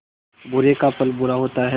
बुरे का फल बुरा होता है